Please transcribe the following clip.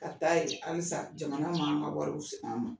Ka taa yen halisa jamana man an ka wariw segin an ma.